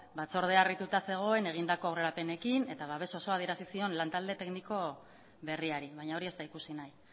batzordea harrituta zegoen egindako aurrerapenekin eta babes osoa adierazi lantalde tekniko berriari baina hori ez da ikusi nahi